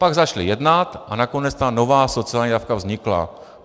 Pak začali jednat a nakonec ta nová sociální dávka vznikla.